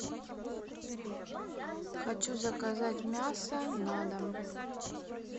хочу заказать мясо на дом